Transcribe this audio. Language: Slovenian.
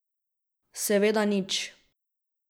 Seveda nič.